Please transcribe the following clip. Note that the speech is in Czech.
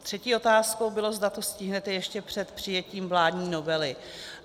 Třetí otázkou bylo, zda to stihnete ještě před přijetím vládní novely.